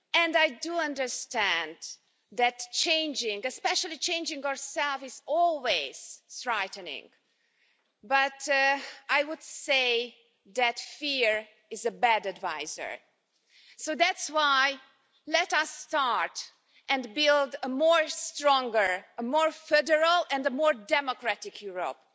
I do understand that changing especially changing ourselves is always frightening, but I would say that fear is a bad advisor. So that's why I say let us start to build a stronger, more federal and more democratic Europe.